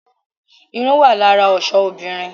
Irun wá lára ọ̀ṣọ ọmọbìnrin